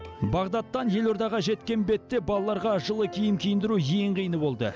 бағдадтан елордаға жеткен бетте балаларға жылы киім киіндіру ең қиыны болды